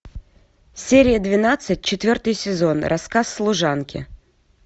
серия двенадцать четвертый сезон рассказ служанки